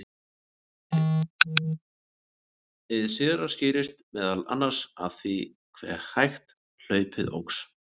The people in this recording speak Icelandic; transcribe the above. hið síðara skýrist meðal annars af því hve hægt hlaupið óx